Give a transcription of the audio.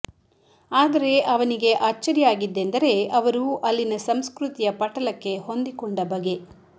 ಆದರೆ ಅವನಿಗೆ ಅಚ್ಚರಿಯಾಗಿದ್ದೆಂದರೆ ಅವರು ಅಲ್ಲಿನ ಸಂಸ್ಕೃತಿಯ ಪಟಲಕ್ಕೆ ಹೊಂದಿಕೊಂಡ ಬಗೆ